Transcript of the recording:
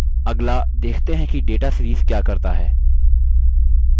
अगला देखते हैं कि data series क्या करता है